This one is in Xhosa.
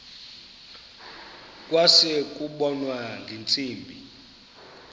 kwase kubonwa ngeentsimbi